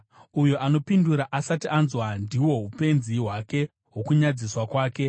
Uyo anopindura asati anzwa, ndihwo upenzi hwake nokunyadziswa kwake.